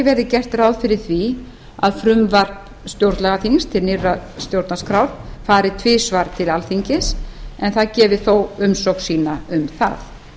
verði gert ráð fyrir því að frumvarp stjórnlagaþings til nýrrar stjórnarskrár fari tvisvar til alþingis en það gefi þó umsögn sína um það